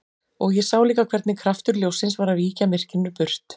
Og ég sá líka hvernig kraftur ljóssins var að víkja myrkrinu burt.